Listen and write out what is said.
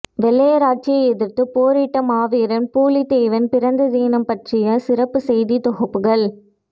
வெள்ளையர் ஆட்சியை எதிர்த்து போரிட்ட மாவீரன் பூலித்தேவன் பிறந்த தினம் பற்றிய சிறப்பு செய்தி தொகுப்புகள்